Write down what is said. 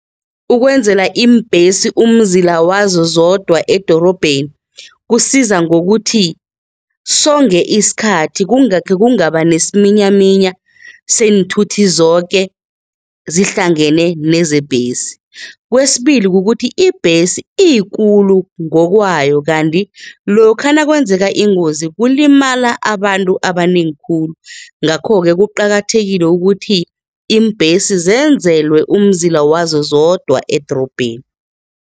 Ukwenzela iimbhesi umzila wazo zodwa edorobheni kusiza ngokuthi songe isikhathi kungakhe kungaba nesiminyaminya seenthuthi zoke zihlangane nezebhesi, kwesibili kukuthi ibhesi iyikulu ngokwayo kanti lokha nakwenzeka ingozi kulimala abantu abanengi khulu ngakho-ke kuqakathekile ukuthi iimbhesi zenzelwe umzila wazo zodwa edorobheni.